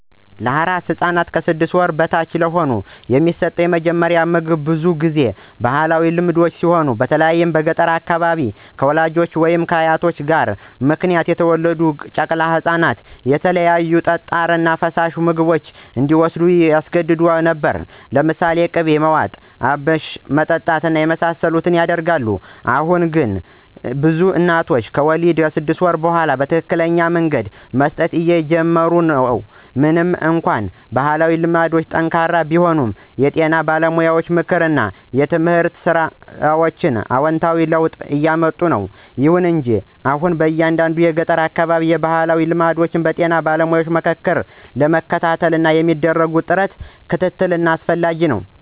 ለአራስ ሕፃን (ከ 6 ወር በታች) የሚሰጡት የመጀመሪያ ምግቦች ብዙውን ጊዜ በባህላዊ ልማዶች ሲሆን በተለይም በገጠር አካባቢዎች፣ ከወላጆች ወይም ከአያቶች ግፊት ምክንያት የተወለዱ ጨቅላ ህፃናትን የተለያዩ ጠጣር እና ፈሳሽ ምግቦች እንዲዎስዱ ያስገድዱ ነበር። ለምሳሌ ቅቤ ማዋጥ፣ አብሽ ማጠጣት የመሳሰሉት ይደረጋል። አሁን አሁን ግን ብዙ እናቶች ከወሊድ እስከ 6 ወር ድረስ በትክክለኛ መንገድ መስጠት እየጀመሩ ነው። ምንም እንኳን ባህላዊ ልማዶች ጠንካራ ቢሆኑም፣ የጤና ባለሙያ ምክር እና የትምህርት ሥራዎች አዎንታዊ ለውጥ እያምጡ ነው። ይሁን እንጂ አሁንም በአንዳንድ የገጠር አካባቢዎች ባህላዊ ልማዶችን በጤና ባለሙያ ምክር ለመተካት የሚደረግ ጥረት እና ክትትል አስፈላጊ ነው።